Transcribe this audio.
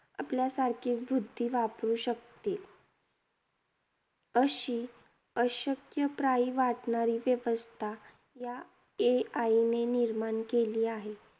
आपल्यासारखीच बुद्धी वापरू शकते. अशी अशक्यप्राय वाटणारी व्यवस्था या AI ने निर्माण केली आहे.